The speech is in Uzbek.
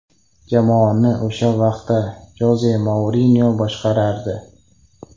Jamoani o‘sha vaqtda Joze Mourinyo boshqarardi.